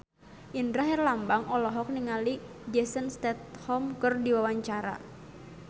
Indra Herlambang olohok ningali Jason Statham keur diwawancara